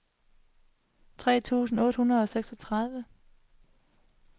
tre tusind otte hundrede og seksogtredive